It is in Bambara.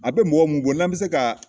A bɛ mɔgɔ mun bɔ n'an mi se ka